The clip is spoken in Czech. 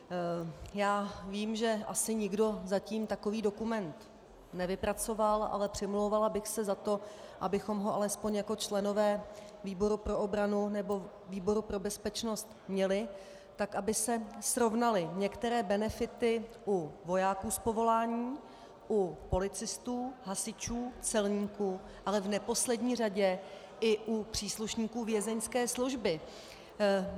Já vím, že asi nikdo zatím takový dokument nevypracoval, ale přimlouvala bych se za to, abychom ho alespoň jako členové výboru pro obranu nebo výboru pro bezpečnost měli, tak aby se srovnaly některé benefity u vojáků z povolání, u policistů, hasičů, celníků, ale v neposlední řadě i u příslušníků Vězeňské služby.